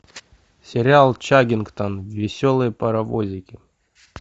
сериал чаггингтон веселые паровозики